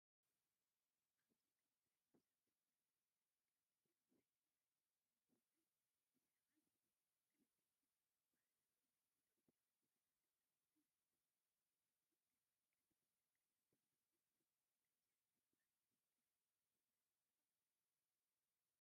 ኣብዚ ክልተ ሕጉሳት መንእሰያት ደቂ ኣንስትዮ ኣብ ውሽጢ ሓደ ገዛ ደው ኢለን ይስሕቓ ኣለዋ። ክልቲአን ባህላዊ ናይ ኢትዮጵያ ኣልባሳት ተኸዲነን ኣለዋ። እቲ ገዛ ቀጠልያ ቀለም ተለኺዩ ኣሎ። ከምዚ ዓይነት ባህላዊ ክዳን ምኽዳን ትፈቱው ዶ?